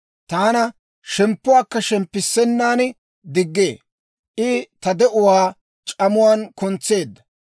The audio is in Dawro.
Taana shemppuwaakka shemppissennan diggee; I ta de'uwaa c'amuwaan kuntseedda.